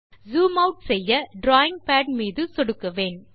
zoom out செய்ய drawing pad மீது சொடுக்குவேன்